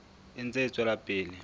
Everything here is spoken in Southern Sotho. e ntse e tswela pele